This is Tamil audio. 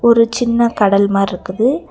ஒரு சின்ன கடல் மாறுருக்குது.